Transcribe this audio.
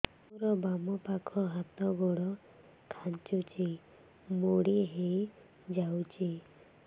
ମୋର ବାମ ପାଖ ହାତ ଗୋଡ ଖାଁଚୁଛି ମୁଡି ହେଇ ଯାଉଛି